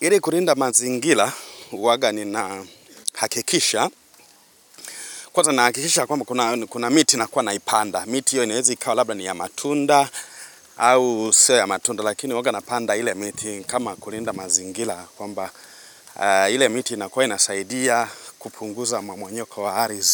Ili kulinda mazingira huwaga nina hakikisha. Kwanza na hakikisha kwamba kuna miti nakuwa naipanda. Miti hiyo inaweza ikawa labda ni ya matunda au siyo ya matunda. Lakini huwaga napanda ile miti kama kulinda mazingira kwamba ile miti inakuwa inasaidia kupunguza mmomonyoko wa ardhi